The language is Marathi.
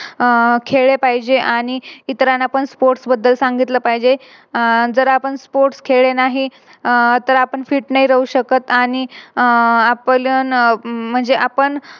आह खेळले पाहिजे आणि इतरांना पण Sports बद्दल सांगितले पाहिजे. अह जर आपण Sports खेळले नाही आह तर आपण Fit नाही राहू शकत आणि आह आपलं म्हणजे आपण